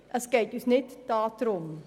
In unserem Antrag geht es nicht darum.